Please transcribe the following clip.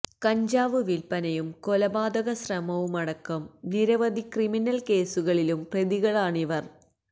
കഞ്ചാവ് വില്പ്പനയും കൊലപാതക ശ്രമവുമടക്കം നിരവധി ക്രമിനില് കേസുകളില് പ്രതികളാണിവര്